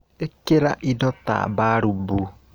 Ĩkĩra indo ta mbarumbu.